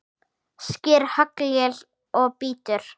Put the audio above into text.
Sker haglél og bítur.